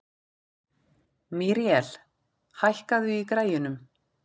Míríel, hækkaðu í græjunum.